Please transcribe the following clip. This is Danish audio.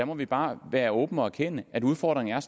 må vi bare være åbne og erkende at udfordringen